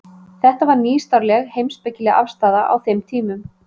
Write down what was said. Þetta var nýstárleg heimspekileg afstaða á þeim tímum.